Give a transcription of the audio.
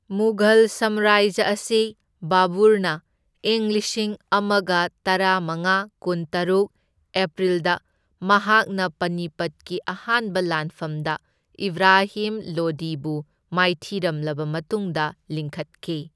ꯃꯨꯘꯜ ꯁꯥꯝꯔꯥꯖ꯭ꯌ ꯑꯁꯤ ꯕꯕꯨꯔꯅ ꯢꯪ ꯂꯤꯁꯤꯡ ꯑꯃꯒ ꯇꯔꯥꯃꯉꯥ ꯀꯨꯟꯇꯔꯨꯛ ꯑꯦꯄ꯭ꯔꯤꯜꯗ ꯃꯍꯥꯛꯅ ꯄꯅꯤꯄꯠꯀꯤ ꯑꯍꯥꯟꯕ ꯂꯥꯟꯐꯝꯗ ꯏꯕ꯭ꯔꯥꯍꯤꯝ ꯂꯣꯗꯤꯕꯨ ꯃꯥꯏꯊꯤꯔꯝꯂꯕ ꯃꯇꯨꯡꯗ ꯂꯤꯡꯈꯠꯈꯤ꯫